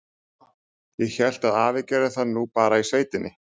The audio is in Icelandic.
Ég hélt að afi gerði það nú bara í sveitinni.